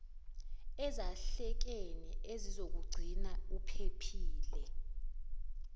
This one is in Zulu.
ezahlekene ezizokugcina uphephile